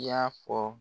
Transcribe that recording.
I y'a fɔ